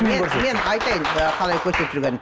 мен мен айтайын қалай көрсетіп жүргенін